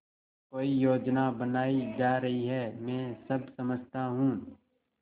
कोई योजना बनाई जा रही है मैं सब समझता हूँ